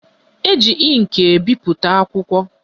Eji ịnkị ebipụta akwụkwọ